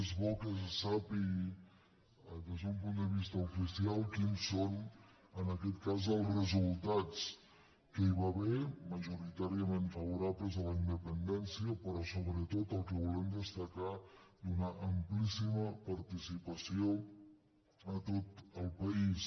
és bo que se sàpiga des d’un punt de vista oficial quins són en aquest cas els resultats que hi va haver majoritàriament favorables a la independència però sobretot el que volem destacar d’una amplíssima par·ticipació a tot el país